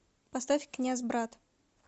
поставь князь брат